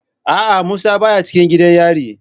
A'a musa baya cikin gidan yari.